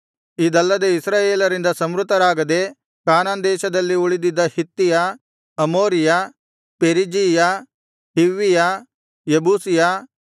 ಇದಲ್ಲದೆ ಇಸ್ರಾಯೇಲರಿಂದ ಸಂಹೃತರಾಗದೆ ಕಾನಾನ್ ದೇಶದಲ್ಲಿ ಉಳಿದಿದ್ದ ಹಿತ್ತಿಯ ಅಮೋರಿಯ ಪೆರಿಜೀಯ ಹಿವ್ವಿಯ ಯೆಬೂಸಿಯ